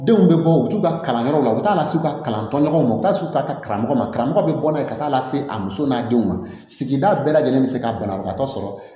Denw bɛ bɔ u bɛ t'u ka kalanyɔrɔw la u t'a las'u ka kalan tɔ ɲɔgɔnw u bɛ taa u ka taa karamɔgɔ ma karamɔgɔ bɛ bɔ n'a ye ka taa lase a muso n'a denw ma sigida bɛɛ lajɛlen bɛ se ka banabagatɔ sɔrɔ